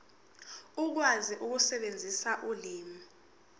ukwazi ukusebenzisa ulimi